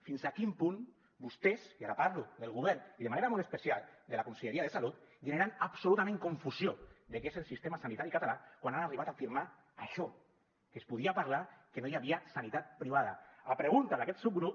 fins a quin punt vostès i ara parlo del govern i de manera molt especial de la conselleria de salut generen absolutament confusió de què és el sistema sanitari català quan ha arribat a afirmar això que es podia parlar que no hi havia sanitat privada a pregunta d’aquest subgrup